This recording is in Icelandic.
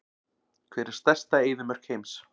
Hver er stærsta eyðimörk heims?